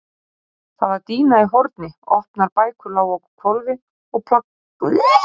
Það var dýna í horni, opnar bækur lágu á hvolfi, plaköt á veggjum.